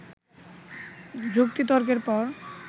যুক্তিতর্কের পর